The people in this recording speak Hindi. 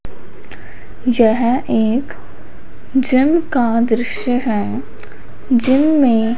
यह एक जिम का दृश्य हैं जिम में--